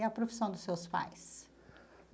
E a profissão dos seus pais?